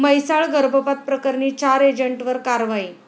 म्हैसाळ गर्भपात प्रकरणी चार एजंटवर कारवाई